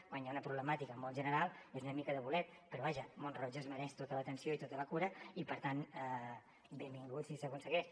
quan hi ha una problemàtica molt general és una mica de bolet però vaja mont roig es mereix tota l’atenció i tota la cura i per tant benvingut si s’aconsegueix